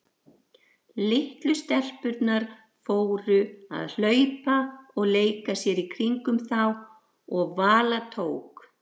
Litlu stelpurnar fóru að hlaupa og leika sér í kringum þá og Vala tók